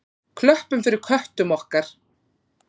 Klöppum fyrir köttum okkar!